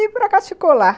E por acaso ficou lá.